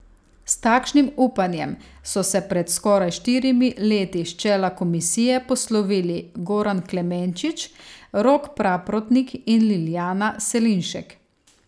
S takšnim upanjem so se pred skoraj štirimi leti s čela komisije poslovili Goran Klemenčič, Rok Praprotnik in Liljana Selinšek.